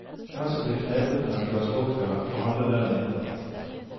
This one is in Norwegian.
Den som blir knepet med et glass vodka, får halve lønnen inndratt.